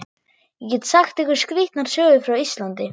Ég get sagt ykkur skrýtnar sögur frá Íslandi.